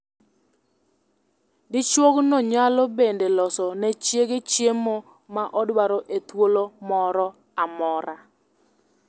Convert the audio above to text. Dichuogno nyalo bende loso ne chiege chiemo ma odwaro e thuolo moro amora.